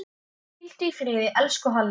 Hvíldu í friði, elsku Halli.